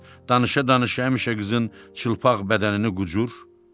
Danışa-danışa həmişə qızın çılpaq bədənini qucur.